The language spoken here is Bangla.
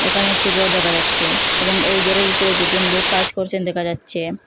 এখানে একটি গর দেখা যাচ্ছে এবং এই গরের ভিতরে দুজন লোক কাজ করছেন দেখা যাচ্ছে।